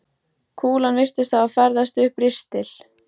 Kúlan virtist hafa ferðast upp ristil